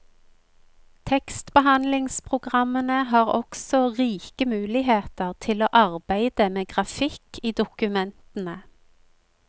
Tekstbehandlingspogrammene har også rike muligheter til å arbeide med grafikk i dokumentene.